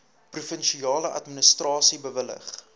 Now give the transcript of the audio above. provinsiale administrasie bewillig